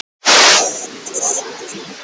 Þú varst hógvær, alltaf glaður.